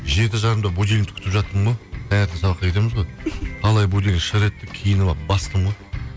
жеті жарымда будильникті күтіп жаттым ғой таңертең сабаққа кетеміз ғой қалай будильник шыр етті киініп алып бастым ғой